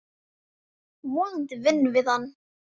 Vonandi vinnum við hann.